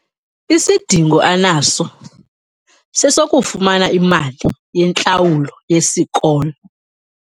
Isidingo anaso sesokufumana imali yentlawulo yesikolo.